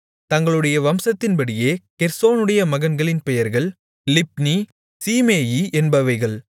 தங்களுடைய வம்சத்தின்படியே கெர்சோனுடைய மகன்களின் பெயர்கள் லிப்னி சீமேயி என்பவைகள்